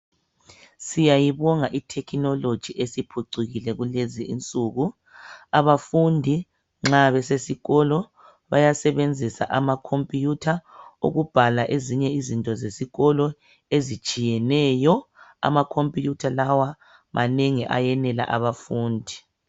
Siyabonga ithekhinoloji esiphucukile kulezi insuku abafundi nxa besesikolo bayasebenzisa amakhompiyutha ukubhala ezinye izinto zesikolo ezitshiyeneyo amakhompiyutha lawa manengi ayenela abafundi.